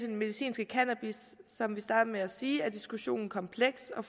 den medicinske cannabis som jeg startede med at sige er diskussionen kompleks og